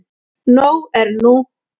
Nóg er nú.